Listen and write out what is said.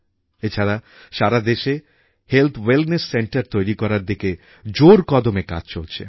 এছাড়া সারা দেশে হেলথ ওয়েলনেস সেন্টার তৈরি করার দিকে জোর কদমে কাজ চলছে